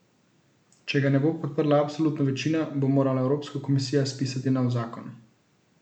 Če ga ne bo podprla absolutna večina, bo morala Evropska komisija spisati nov zakon.